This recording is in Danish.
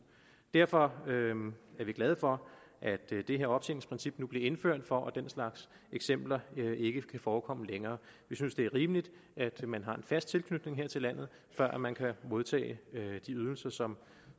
derfor er vi glade for at det her optjeningsprincip nu bliver indført for at den slags eksempler ikke kan forekomme længere vi synes det er rimeligt at man har en fast tilknytning her til landet før man kan modtage de ydelser som